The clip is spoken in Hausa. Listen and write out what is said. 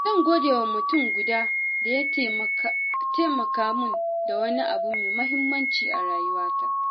Zan gode wa mutum guda da ya taimaka min da wani abu mai muhimmanci a rayuwata.